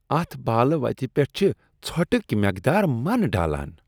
اتھ بالہ وتہ پیٹھ چھ ژھۄٹک مقدار من ڈالان۔